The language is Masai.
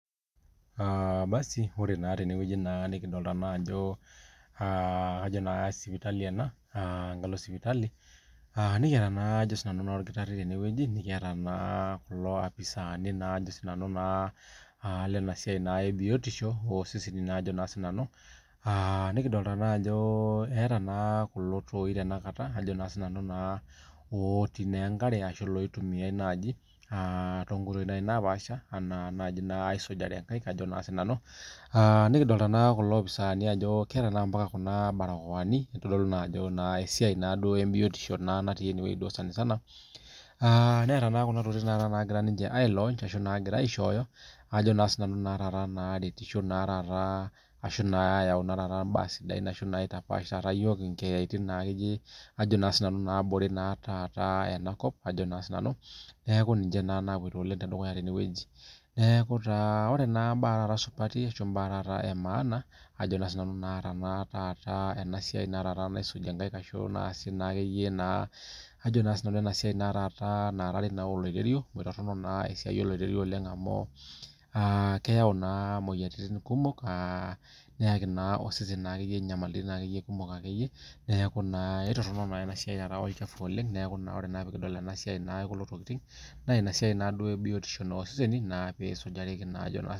Aa basi ore na tenewueji nikidolta ajo sipitali ena enkalo sipitali nikiata oldakitari nikiata kulo apisani lenasia ebiotisho oseseni ajo na sinanu nikidol ajo eeta kulo toi otii enkare ashu oitumia naai tonkoitoi napaasha nikidolita n akulo apisani ajo keeta ambaka kuna barakoani kitadolu ajo esiai ebiotisho natii enewueji sanisana. Netii kuna tokitin nagira aishooyo naretisho ashu na ayau mbaa sidan ashu aitapash nkeeyani nabore enakop ajo na sinanu neaku ninche napuoito oleng neaku ore embae emaana ajo nanu na enasia naisuji nkaik ajo na nanu esiai naarari oloiterio amu toronok esiai oloiterio oleng amu keyau na moyiaritin kumok aa neyaki na osesen nyamalitin kumok oleng akeyie neaku aitoronol enasiai olchafu na emasiai ebiotisho oseseni na pisujareki